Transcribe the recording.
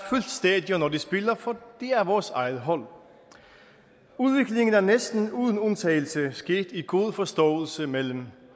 stadion når de spiller for det er vores eget hold udviklingen er næsten uden undtagelse sket i god forståelse mellem